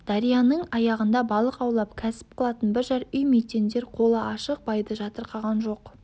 дарияның аяғында балық аулап кәсіп қылатын бір-жар үй мүйтендер қолы ашық байды жатырқаған жоқ